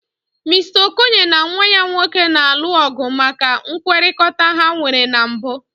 Mister Okoye na nwa ya nwoke na-alụ ọgụ maka nkwekọrịta ha nwere na mbụ.